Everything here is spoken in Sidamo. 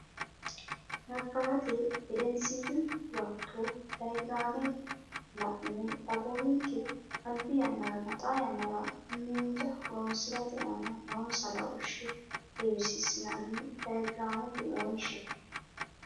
Nabbawate Gedensiidi Huwato diyaagiraame la ine dagoominke albi yannaranna xaa yannara miinja horonsi rate aana noonsa laooshshe heewisiissinanni diyaagiraamete wonshe.